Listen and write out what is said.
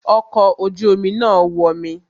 Ọkọ̀ ojú omi náà wọmi